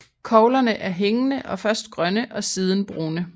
Koglerne er hængende og først grønne og siden brune